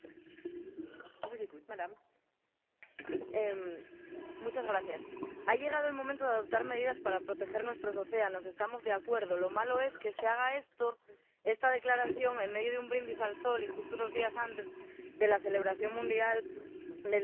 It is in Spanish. Señora presidenta, ha llegado el momento de adoptar medidas para proteger nuestros océanos. Estamos de acuerdo, lo malo es que se haga esta declaración en medio de un brindis al sol y justo unos días antes de la celebración mundial del Día de los Océanos.